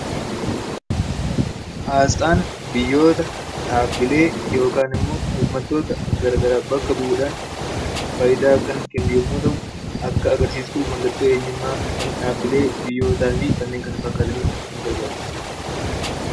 Asxaan biyyoota dhaabbilee yookaan immoo uummattoota gara garaa bakka bu'uu dhaan faayidaa kan kennu yommuu ta'u, akka agarsiistuu mallattoo eenyummaa kan dhaabbilee biyyootaa fi kanneen kana fakkaataniif ksn gargaaru dha.